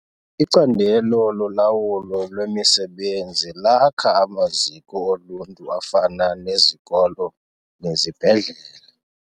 Icandelo lolawulo lwemisebenzi lakha amaziko oluntu afana nezikolo nezibhedlele.